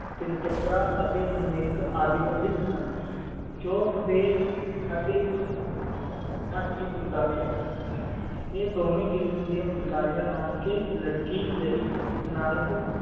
ਤਿਲ ਪਾਤਰ ਅੱਟੀ ਮਿਲਕ ਆਦਿ ਪ੍ਰਸਿੱਧ ਹਨ ਚੋਕ ਡੀ ਅਤਿ ਆ ਢੋਵੀ ਕਿਸਮ ਦੀ ਫੁਲਕਾਰੀਆਂ ਨਾਨਕੀ ਲੜਕੀ ਲਈ ਨਾਨਕ